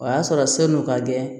O y'a sɔrɔ sanu ka gɛlɛn